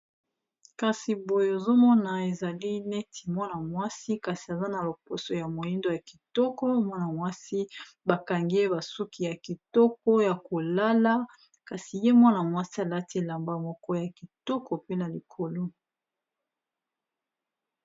Kasi boye ozomona ezali neti mwana mwasi kasi aza na loposo ya moindo, ya kitoko mwana mwasi bakangi ye basuki ya kitoko ya kolala kasi ye mwana mwasi alati elamba moko ya kitoko pe na likolo.